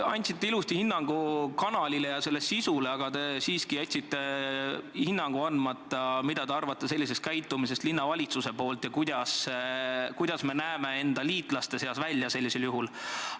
Te andsite ilusti hinnangu kanalile ja selle sisule, aga jätsite andmata hinnangu, mida te arvate linnavalitsuse käitumisest ja kuidas me oma liitlaste silmis sellisel juhul välja näeme.